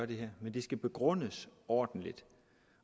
det skal begrundes ordentligt